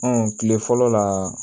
Ɔn kile fɔlɔ la